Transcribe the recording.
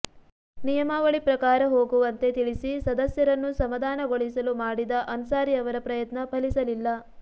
ನಿಯಮಾವಳಿ ಪ್ರಕಾರ ಹೋಗುವಂತೆ ತಿಳಿಸಿ ಸದಸ್ಯರನ್ನು ಸಮಾಧಾನಗೊಳಿಸಲು ಮಾಡಿದ ಅನ್ಸಾರಿ ಅವರ ಪ್ರಯತ್ನ ಫಲಿಸಲಿಲ್ಲ